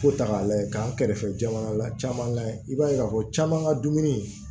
Ko ta k'a lajɛ k'an kɛrɛfɛ jamana la caman kan i b'a ye k'a fɔ caman ka dumuni